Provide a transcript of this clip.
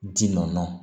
Ji nɔɔni